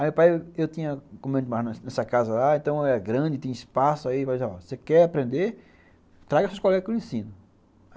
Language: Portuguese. Aí meu pai, eu tinha comido demais nessa casa lá, então era grande, tinha espaço, aí ele vai falar, ó, se você quer aprender, traga seus colegas que eu ensino.